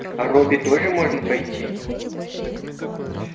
а робби тоже можно пойти